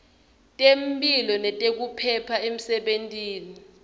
temphilo nekuphepha emsebentini